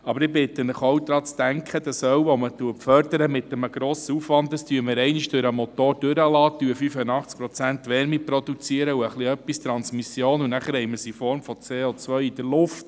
Ich bitte Sie, auch daran zu denken, dass wir das Öl, welches wir mit grossem Aufwand fördern, einmal durch den Motor laufen lassen, dabei 85 Prozent Wärme und ein wenig Transmission produzieren, und anschliessend haben wir es in Form von CO in der Luft.